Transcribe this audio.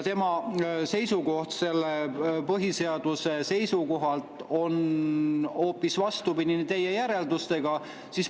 Tema seisukoht põhiseaduse seisukohalt on hoopis vastupidine teie järeldustele.